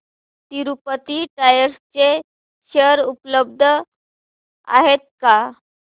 Tirupati tyres चे share उपलब्ध आहेत का